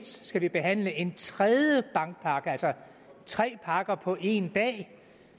skal vi behandle en tredje bankpakke altså tre pakker på en dag det